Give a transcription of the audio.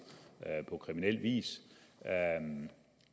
på kriminel vis